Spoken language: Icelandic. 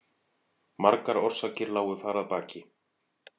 Margar orsakir lágu þar að baki.